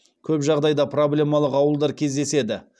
көп жағдайда проблемалық ауылдар кездеседі